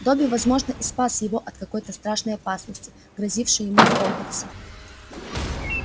добби возможно и спас его от какой-то страшной опасности грозившей ему в хогвартсе